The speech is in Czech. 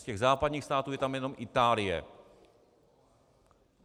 Z těch západních států je tam jenom Itálie.